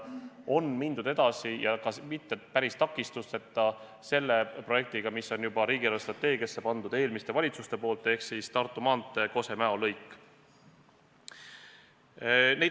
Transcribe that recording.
On mindud edasi ja ka mitte päris takistusteta selle projektiga, mille on riigi eelarvestrateegiasse pannud juba eelmised valitsuses, ehk siis Tartu maantee Kose–Mäo lõik.